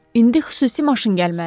İndi xüsusi maşın gəlməlidir.